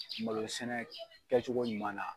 Malosɛnɛ kɛcogo ɲuman na.